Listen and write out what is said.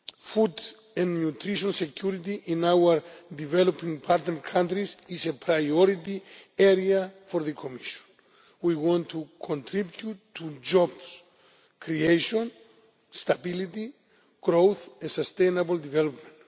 Food and nutrition security in our developing partner countries is a priority area for the Commission. We want to contribute to job creation, stability, growth and sustainable development.